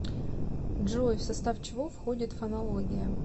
джой в состав чего входит фонология